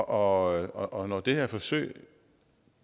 og og når det her forsøg